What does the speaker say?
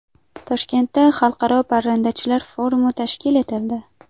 Toshkentda xalqaro parrandachilar forumi tashkil etildi.